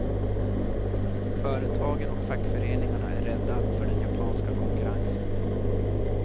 Företagen och fackföreningarna är rädda för den japanska konkurrensen.